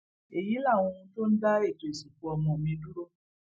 èyí làwọn ohun tó ń dá ètò ìsìnkú ọmọ mi dúró